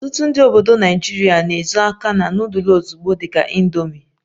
Ọtụtụ ndị Naịjirịa na-ezo aka na nudul ozugbo dị ka "indomi"